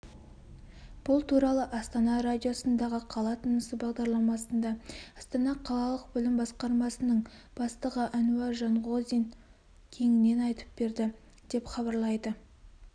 бұл туралы астана радиосындағы қала тынысы бағдарламасында астана қалалық білім басқармасының бастығы әнуар жанғозин кеңінен айтып берді деп хабарлайды